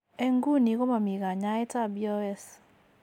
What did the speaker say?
En nguni komami kanyaet ab BOS